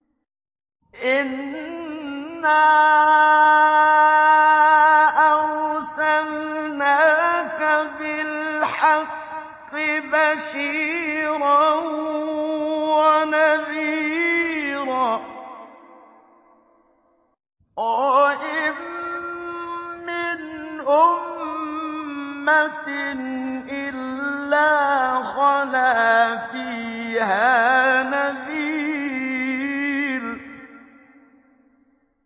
إِنَّا أَرْسَلْنَاكَ بِالْحَقِّ بَشِيرًا وَنَذِيرًا ۚ وَإِن مِّنْ أُمَّةٍ إِلَّا خَلَا فِيهَا نَذِيرٌ